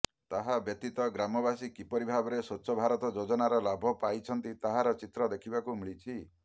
ତାହା ବ୍ୟତୀତ ଗ୍ରାମବାସୀ କିପରି ଭାବେ ସ୍ୱଚ୍ଛ ଭାରତ ଯୋଜନାର ଲାଭ ପାଇଛନ୍ତି ତାହାର ଚିତ୍ର ଦେଖିବାକୁ ମିଳିଛି